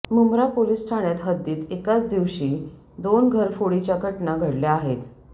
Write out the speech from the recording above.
Mumbra police ठाण्यात हद्दीत एकाच दिवशी दोन घरफोडीच्या घटना घडल्या आहेत